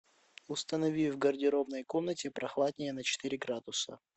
установи в гардеробной комнате прохладнее на четыре градуса